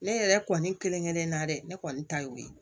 Ne yɛrɛ kɔni kelen kelen na dɛ ne kɔni ta y'o ye